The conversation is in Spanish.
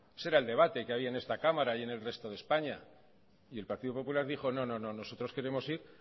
ese era el debate que había en esta cámara y en el resto de españa y el partido popular dijo no no nosotros queremos ir